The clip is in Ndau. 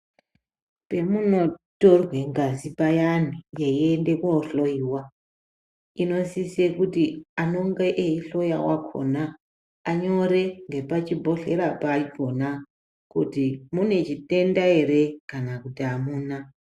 Pemunotorwa ngazi payani peienda kohloiwa inosisa kuti anenge eihloya wakona anyore nemapichibhohlera pacho kuti mune chitenda ere kana kuti amuna.